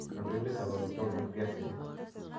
Kandoindetap amitwogik eng' piasinik